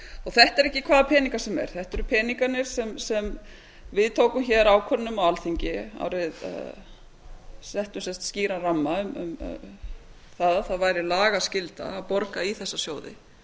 þetta eru ekki hvaða peningar sem er þetta eru peningarnir sem við tókum ákvörðun um á alþingi settum sem sagt skýran ramma um að það væri lagaskylda að borga í þessa sjóði